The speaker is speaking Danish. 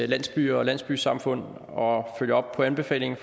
landsbyer og landsbysamfund og følger op på anbefalingerne